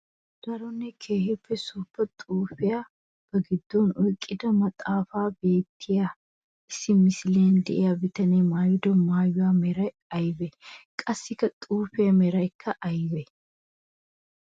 Daronne keehippe suufa xuufiyaa ba gidon oyqqida maxafaan beetiyaa issi misiliyan de'iyaa bitane maayido maayuwa meray aybee? Qassikka xuufiya meraykka aybee?